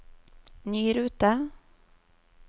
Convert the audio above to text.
ny rute